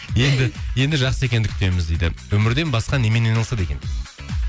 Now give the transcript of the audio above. енді жақсы екенді күтеміз дейді өнерден басқа немен айналысады екен дейді